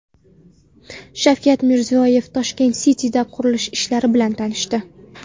Shavkat Mirziyoyev Toshkent City’da qurilish ishlari bilan tanishdi.